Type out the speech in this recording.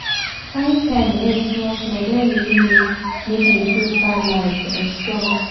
to find time rest small-small don really make make me feel balanced and strong.